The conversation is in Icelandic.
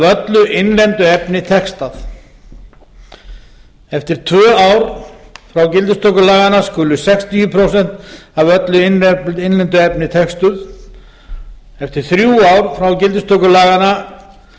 öllu innlendu efni textuð annað eftir tvö ár frá gildistöku laganna skulu sextíu prósent af öllu innlendu efni textuð þriðji eftir þrjú ár frá gildistöku laganna